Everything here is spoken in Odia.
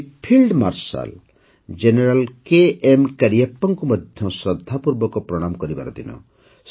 ଆଜି ଫିଲ୍ଡ ମାର୍ଶାଲ ଜେନେରାଲ କେଏମ୍ କାରିୟାପ୍ପାଙ୍କୁ ମଧ୍ୟ ଶ୍ରଦ୍ଧାପୂର୍ବକ ପ୍ରଣାମ କରିବାର ଦିନ